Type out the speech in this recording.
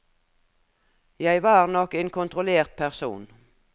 Jeg var nok en kontrollert person.